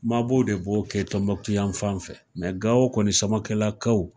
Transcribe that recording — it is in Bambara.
Mabɔ de b'o kɛ Tɔnbukutu yan fan fɛ ,nka Gawo kɔni Samakɛlakaw